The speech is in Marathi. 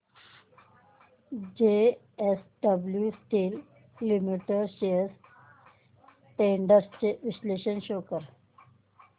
JSW steel limited shares trends चे विश्लेषण शो कर